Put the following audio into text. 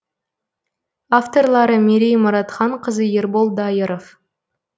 авторлары мерей мұратханқызы ербол дайыров